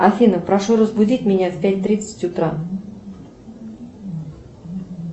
афина прошу разбудить меня в пять тридцать утра